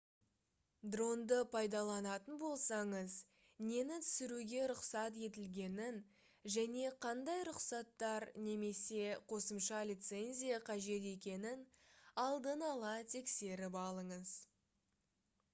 дронды пайдаланатын болсаңыз нені түсіруге рұқсат етілгенін және қандай рұқсаттар немесе қосымша лицензия қажет екенін алдын ала тексеріп алыңыз